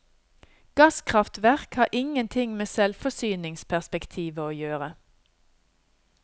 Gasskraftverk har ingenting med selvforsyningsperspektivet å gjøre.